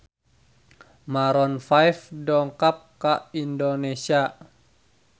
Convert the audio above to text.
Maroon 5 dongkap ka Indonesia